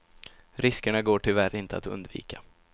Riskerna går tyvärr inte att undvika.